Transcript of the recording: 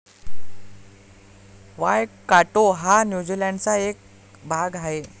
Waikato हा न्यूझीलँडचा एक भाग आहे.